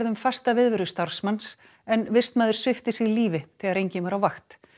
um fasta viðverðu starfsmanns en vistmaður svipti sig lífi þegar enginn var á vakt